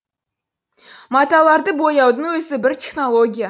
маталарды бояудың өзі бір технология